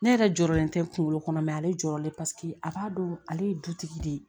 Ne yɛrɛ jɔyɔrɔlen tɛ kunkolo kɔnɔ mɛ ale jɔrɔlen paseke a b'a dɔn ale ye dutigi de ye